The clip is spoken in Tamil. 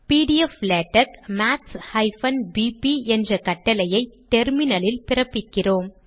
பிடிஎப்ளாடெக்ஸ் maths பிபி என்ற கட்டளையை டெர்மினல் இல் பிறப்பிக்கிறோம்